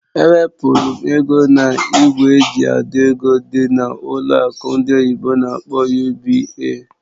Ewepụrụ m ego na ìgwè eji àdọ́ ego dị na ụlọ akụ ndị oyibo n'akpọ "UBA".